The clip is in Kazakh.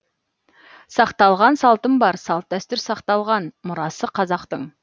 сақталған салтым бар салт дәстүр сақталған мұрасы қазақтың